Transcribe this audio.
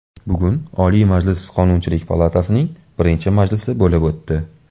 Bugun Oliy Majlis Qonunchilik palatasining birinchi majlisi bo‘lib o‘tdi.